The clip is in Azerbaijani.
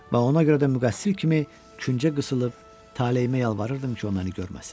Və ona görə də müqəssir kimi küncə qısılıb, taleyimə yalvarırdım ki, o məni görməsin.